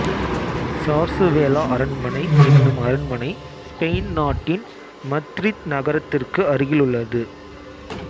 Zarzuela அரண்மனை என்னும் அரண்மனை ஸ்பெயின் நாட்டின் மத்ரித் நகரத்திற்கு அருகில் உள்ளது